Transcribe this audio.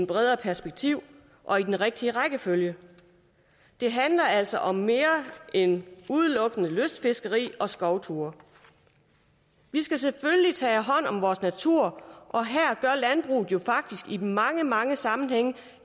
bredere perspektiv og i den rigtige rækkefølge det handler altså om mere end udelukkende lystfiskeri og skovtur vi skal selvfølgelig tage hånd om vores natur og her gør landbruget jo faktisk i mange mange sammenhænge